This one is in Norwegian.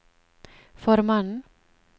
formannen